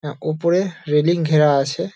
এ ওপরে রেলিং ঘেরা আছে|